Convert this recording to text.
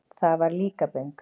Það var Líkaböng.